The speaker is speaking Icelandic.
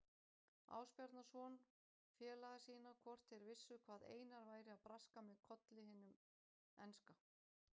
Ásbjarnarson félaga sína hvort þeir vissu hvað Einar væri að braska með Kolli hinum enska.